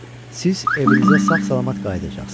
Siz evinizə sağ-salamat qayıdacaqsınız.